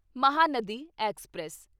Mahanadi express